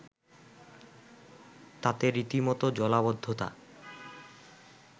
তাতে রীতিমত জলাবদ্ধতা